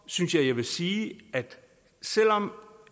synes jeg jeg vil sige at selv om